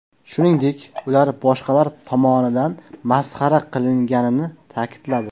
Shuningdek, ular boshqalar tomonidan masxara qilinganini ta’kidladi.